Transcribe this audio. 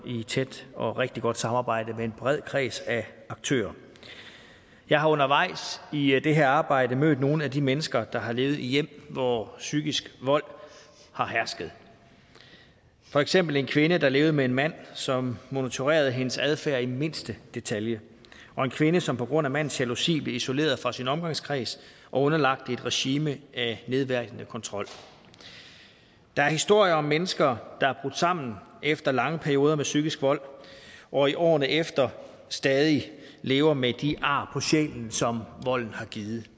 tæt og rigtig godt samarbejde med en bred kreds af aktører jeg har undervejs i det her arbejde mødt nogle af de mennesker der har levet i hjem hvor psykisk vold har hersket for eksempel en kvinde der levede med en mand som monitorerede hendes adfærd i mindste detalje og en kvinde som på grund af mandens jalousi blev isoleret fra sin omgangskreds og underlagt et regime af nedværdigende kontrol der er historier om mennesker der er brudt sammen efter lange perioder med psykisk vold og i årene derefter stadig væk lever med de ar på sjælen som volden har givet